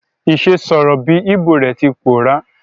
Ìse sọ̀rọ̀ bi Igbo re ti pòórá